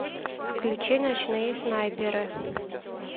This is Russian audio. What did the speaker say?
включи ночные снайперы